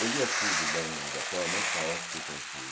Eu lia tudo da da forma mais caótica e confusa.